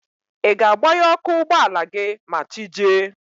Ị ga-agbaghe ọkụ ụgbọala gị ma chi jie?